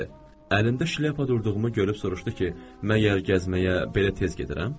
Əlində şilyapa durduğumu görüb soruşdu ki, məgər gəzməyə belə tez gedirəm?